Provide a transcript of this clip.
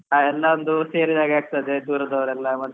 ಎಲ್ಲ ಒಂದು ಸೇರಿದಾಗೆ ಆಗ್ತದೆ ದೂರದವರೆಲ್ಲ ಮತ್ತೆ.